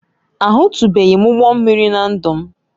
Ahụtụbeghị m ụgbọ mmiri na ndụ m